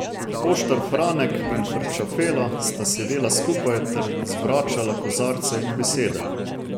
Poštar Franek in Frčafela sta sedela skupaj ter zvračala kozarce in besede.